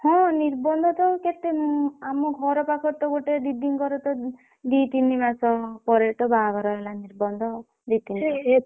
ହଁ ନିର୍ବନ୍ଧ ତ କେତେ ଆମ ଘର ପାଖରେ ତ ଗୋଟେ ଦିଦିଙ୍କର ତ ଦି ଦି ତିନ ମାସ ପରେ ତ ବାହାଘର ହେଲା ନିର୍ବନ୍ଧ ଦି ତିନ ମାସ